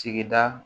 Sigida